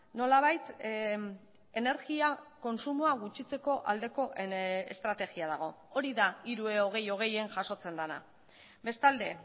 nolabait energia kontsumoa gutxitzeko aldeko estrategia dago hori da hiru e hogei hogeien jasotzen dena bestalde